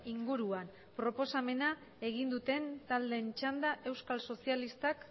inguruan proposamena egin duten taldeen txanda euskal sozialistak